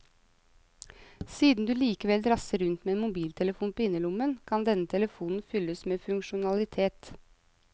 Siden du likevel drasser rundt med en mobiltelefon på innerlommen, kan denne telefonen fylles med funksjonalitet.